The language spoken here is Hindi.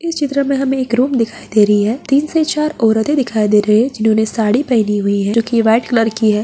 इस चित्र में हमें एक रूम दिखाई दे रही है तीन से चार औरतें दिखाई दे रही है जिन्होंने साड़ी पहनी हुई है जो कि व्हाइट कलर की है।